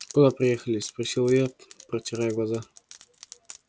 куда приехали спросил я протирая глаза